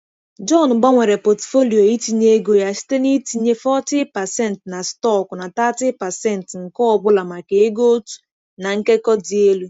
John gbanwere pọtụfoliyo itinye ego ya site na-itinye 40% na stọkụ na 30% nke ọ bụla maka ego otu na nkekọ dị elu.